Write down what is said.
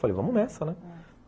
Falei, vamos nessa, né? ah